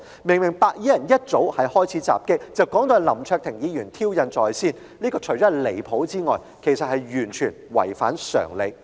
明明白衣人一早開始襲擊，但他卻說成是林卓廷議員挑釁在先，除了離譜外，更完全違反常理。